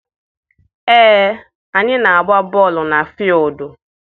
Ee, anyị na-agba bọọlụ na fuildi.